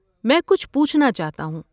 میں کچھ پوچھنا چاہتا ہوں۔